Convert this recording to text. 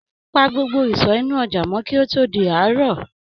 Pa gbogbo ìsọ inú ojà mọ kí ó tó di àárò.